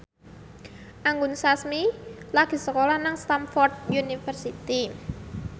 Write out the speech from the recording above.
Anggun Sasmi lagi sekolah nang Stamford University